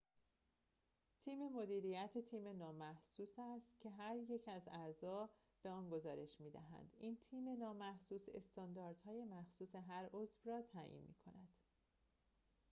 تیم مدیریت تیم نامحسوس است که هر یک از اعضا به آن گزارش می‌دهند این تیم نامحسوس استانداردهای مخصوص هر عضو را تعیین می‌کند